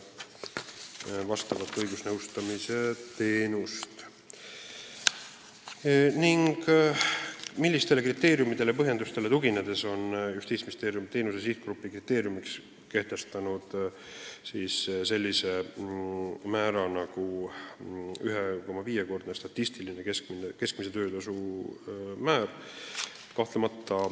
Neljas küsimus on, millistele kriteeriumidele ja põhjendustele tuginedes on Justiitsministeerium teenuse sihtgrupi töötasu kriteeriumiks kehtestanud sellise määra nagu 1,5-kordne statistiline keskmine töötasu.